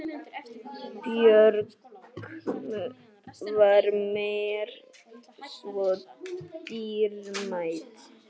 Björk var mér svo dýrmæt.